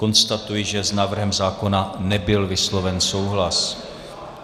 Konstatuji, že s návrhem zákona nebyl vysloven souhlas.